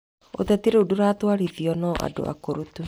Ũteti rĩu ndũratwarithio no andũ akũrũ tu.